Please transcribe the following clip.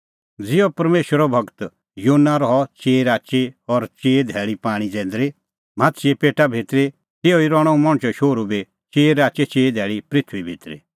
ज़िहअ परमेशरो गूर योना रहअ चिई राची और चिई धैल़ी पाणीं जैंदरी माहाछ़े पेटा भितरी तिहअ ई रहणअ हुंह मणछो शोहरू बी चिई राची धैल़ी पृथूई भितरी